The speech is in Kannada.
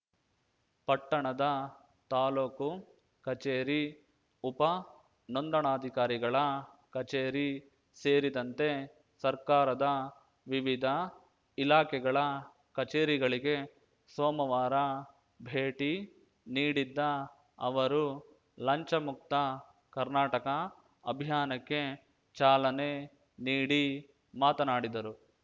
ಪಟ್ಟಣದ ತಾಲೂಕು ಕಚೇರಿ ಉಪ ನೋಂದಣಾಧಿಕಾರಿಗಳ ಕಚೇರಿ ಸೇರಿದಂತೆ ಸರ್ಕಾರದ ವಿವಿಧ ಇಲಾಖೆಗಳ ಕಚೇರಿಗಳಿಗೆ ಸೋಮವಾರ ಭೇಟಿ ನೀಡಿದ್ದ ಅವರು ಲಂಚಮುಕ್ತ ಕರ್ನಾಟಕ ಅಭಿಯಾನಕ್ಕೆ ಚಾಲನೆ ನೀಡಿ ಮಾತನಾಡಿದರು